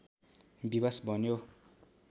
विवश बन्यो